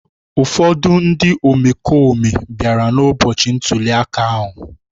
Ụfọdụ ndị omekome bịara n’ụbọchị ntuli aka ahụ